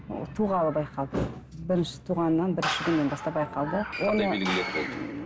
ол туғалы байқалды бірінші туғаннан бірінші күннен бастап байқалды қандай белгілері болды